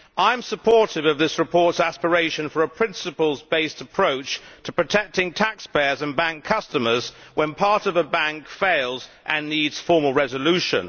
I am supportive of this report's aspiration for a principles based approach to protecting taxpayers and bank customers when part of a bank fails and needs formal resolution.